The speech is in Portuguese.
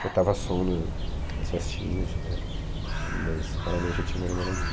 Botava som na, nas festinhas, né, mas raramente eu tinha uma namoradinha.